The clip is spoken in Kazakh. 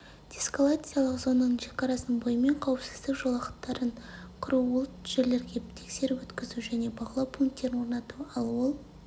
деэскалациялық зонаның шекарасының бойымен қауіпсіздік жолақтарын құру ол жерлерге тексеріп-өткізу және бақылау пунктерін орнату ал ол